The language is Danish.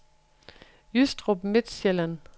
Jystrup Midtsjælland